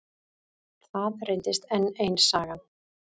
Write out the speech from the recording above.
Það reyndist enn ein sagan.